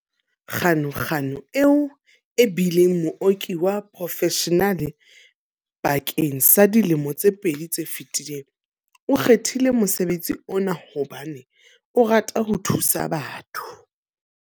Ganuganu, eo e bileng mooki wa porofeshenale bakeng sa dilemo tse pedi tse fetileng, o kgethile mosebetsi ona hobane o rata ho thusa batho.